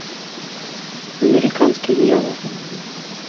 американский дьявол